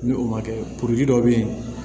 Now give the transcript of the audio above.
Ni o ma kɛ dɔ bɛ yen